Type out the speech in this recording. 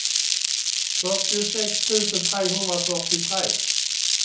fyrtiosex tusen trehundrafyrtiotre